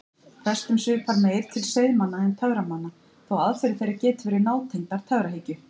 Prestum svipar meir til seiðmanna en töframanna þó að aðferðir þeirra geti verið nátengdar töfrahyggju.